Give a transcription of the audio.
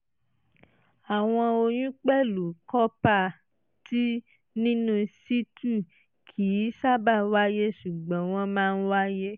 àwọn oyún pẹ̀lú copper-t nínú situ kì í sábà wáyé ṣùgbọ́n wọ́n máa ń wáyé